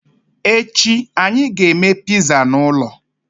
Echi, anyị ga-eme pizza n'ụlọ.